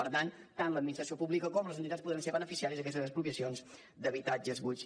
per tant tant l’administració pública com les entitats podran ser beneficiàries d’aquestes expropiacions d’habitatges buits